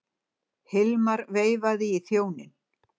Hilmar veifaði í þjóninn.